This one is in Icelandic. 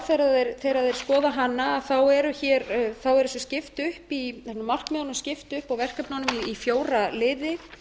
og menn sjá þegar þeir skoða hana er þessu skipt upp í markmiðunum skipt upp og verkefnunum í fjóra liði